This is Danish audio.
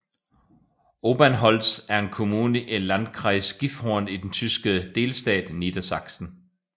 Obernholz er en kommune i Landkreis Gifhorn i den tyske delstat Niedersachsen